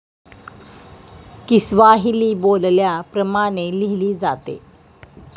Kiswahili बोलल्या प्रमाणे लिहिली जाते.